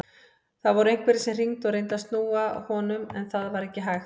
Það voru einhverjir sem hringdu og reyndu að snúa honum en það var ekki hægt.